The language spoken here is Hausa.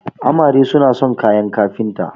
amare suna son kayan kafinta